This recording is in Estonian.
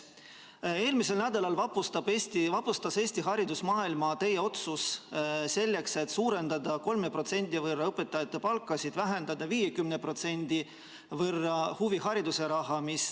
Eelmisel nädalal vapustas Eesti haridusmaailma teie otsus suurendada 3% võrra õpetajate palkasid selle arvel, et 50% võrra vähendatakse huvihariduse raha.